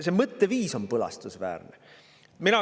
See mõtteviis on põlastusväärne!